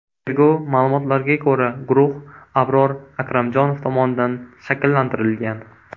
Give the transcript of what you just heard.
Tergov ma’lumotlariga ko‘ra, guruh Abror Akramjonov tomonidan shakllantirilgan.